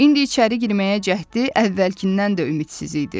İndi içəri girməyə cəhdi əvvəlkindən də ümidsiz idi.